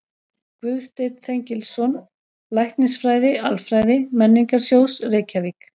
Guðsteinn Þengilsson, Læknisfræði-Alfræði Menningarsjóðs, Reykjavík